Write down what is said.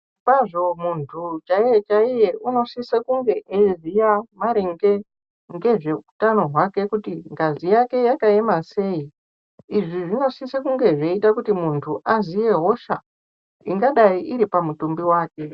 Zvirokwazvo muntu chaiye chaiye anosisa kunge eyiziya maringe ngezve utano hwake kuti ngazi yake yakaema sei izvi zvinosisa kuti muntu aziye hosha ingadai iri pamutumbi wake.